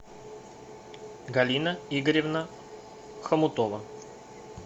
галина игоревна хомутова